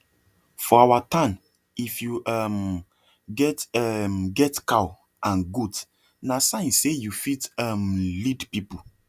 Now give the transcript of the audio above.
for our town if you um get um get cow and goat na sign say you fit um lead people